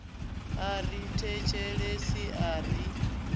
a ri thetshelesi a ri